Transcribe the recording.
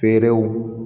Feerew